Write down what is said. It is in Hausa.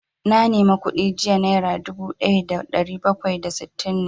Na nema kuɗi jiya, naira dubu ɗaya da ɗari bakwai da sittin ne